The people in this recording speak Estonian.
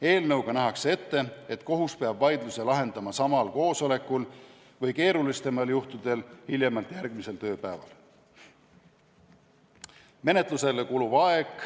Eelnõuga nähakse ette, et kohus peab vaidluse lahendama samal koosolekul või keerulisematel juhtudel hiljemalt järgmisel tööpäeval.